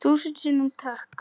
Þúsund sinnum takk.